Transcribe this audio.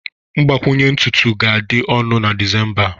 mgbakwunye ntutu ga-adị ọnụ na Disemba a